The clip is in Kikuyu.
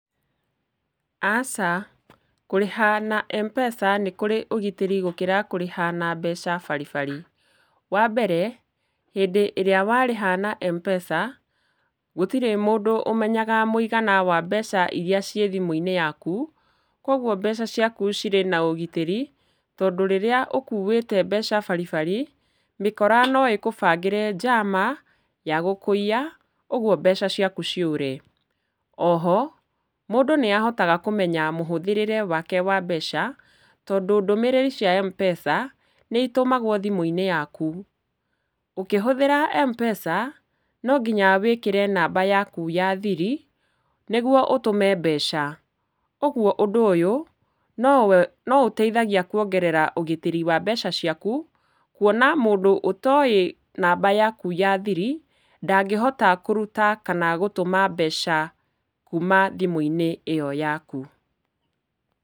Aca, kũrĩha na mpesa nĩkũrĩ ũgitĩri gũkĩra kũrĩha na mbeca baribari. Wambere, hĩndĩ ĩrĩa warĩha na mpesa gũtirĩ mũndũ ũmenyaga mũigana wa mbeca iria cii thimu-inĩ yaku, kwoguo mbeca ciaku cirĩ na ũgitĩri tondũ rĩrĩa ũkuĩte mbeca baribari, mĩkora noĩkũbangĩre njama ya gũkũiya ũgwo mbeca ciaku ciũre. Oho, mũndũ nĩ ahotaga kũmenya mũhũthĩrĩre wake wa mbeca tondũ ndũmĩrĩri cia mpesa nĩitũmagwo thimũ-inĩ yakũ. Ũkĩhũthĩra mpesa, nonginya wĩkĩre namba yaku ya thiri nĩgwo ũtũme mbeca, ũgwo ũndũ ũyũ nowe, noũteithagia kuongerera ũgitĩri wa mbeca ciaku, kũona mũndũ ũtoĩ namba yaku ya thiri ndangĩhota kũruta kana gũtũma mbeca kuuma thimũ-inĩ ĩyo yaku.